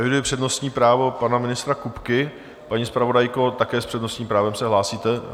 Eviduji přednostní právo pana ministra Kupky, paní zpravodajko, také s přednostním právem se hlásíte?